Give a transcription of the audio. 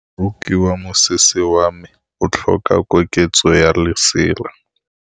Moroki wa mosese wa me o tlhoka koketsô ya lesela.